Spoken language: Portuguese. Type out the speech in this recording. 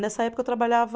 Nessa época eu trabalhava.